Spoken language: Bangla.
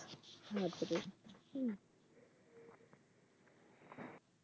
আচ্ছা ঠিক আছে